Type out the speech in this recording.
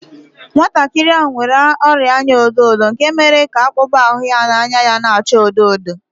Nwantakịrị ahụ nwere ọrịa anya ọdọ ọdọ nke mere ka akpụkpọ ahụ na anya ya na-acha odo odo